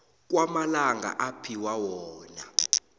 kwamalanga aphiwa wona